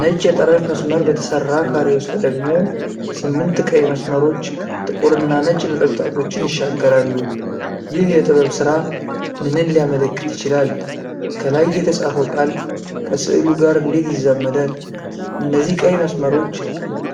ነጭ የጠረፍ መስመር በተሰራ ካሬ ውስጥ ደግሞ ስምንት ቀይ መስመሮች ጥቁርና ነጭ ነጠብጣቦችን ይሻገራሉ። ይህ የጥበብ ሥራ ምንን ሊያመለክት ይችላል? ከላይ የተጻፈው ቃል ከስዕሉ ጋር እንዴት ይዛመዳል? እነዚህ ቀይ መስመሮች